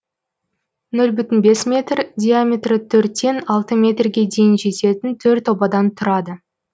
нөл бүтін бес метр диаметрі төрттен алты метрге дейін жететін төрт обадан тұрады